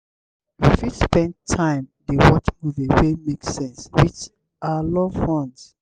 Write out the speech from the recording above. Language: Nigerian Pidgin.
we fit spend time dey watch movie wey make sense with our loved ones